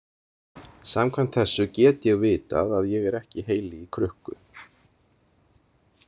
Samkvæmt þessu get ég vitað að ég er ekki heili í krukku.